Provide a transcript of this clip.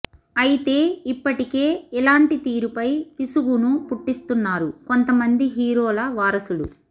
అయితే ఇప్పటికే ఇలాంటి తీరుపై విసుగును పుట్టిస్తున్నారు కొంతమంది హీరోల వారసులు